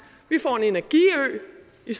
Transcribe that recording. vi